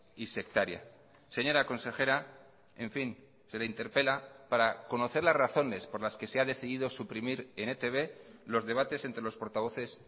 y sectaria señora consejera en fin se le interpela para conocer las razones por las que se ha decidido suprimir en etb los debates entre los portavoces